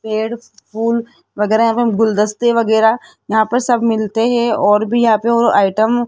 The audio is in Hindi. पेड़ फूल वगैरा यहां पे गुलदस्ते वगैरा यहां पर सब मिलते है और भी यहां पे वो आइटम --